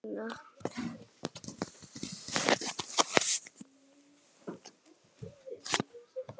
Bjarni, doktor Bjarni.